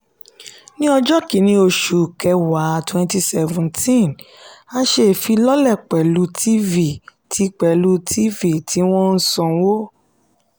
ni ọjọ́ kínní oṣù kẹwàá twenty seventeen a ṣe ìfilọ́lẹ̀ pẹ̀lú tv tí pẹ̀lú tv tí wọ́n ń sanwó.